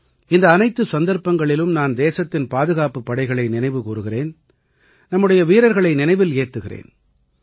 இந்த அனைத்து சந்தர்ப்பங்களிலும் நான் தேசத்தின் பாதுகாப்புப் படைகளை நினைவுகூருகிறேன் நம்முடைய வீரர்களை நினைவில் ஏந்துகிறேன்